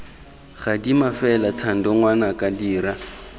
gadima fela thando ngwanaka dira